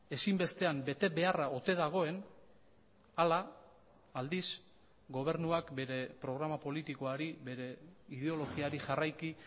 ezinbestean betebeharra ote dagoen ala aldiz gobernuak bere programa politikoari bere ideologiari jarraiki